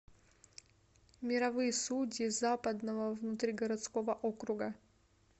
мировые судьи западного внутригородского округа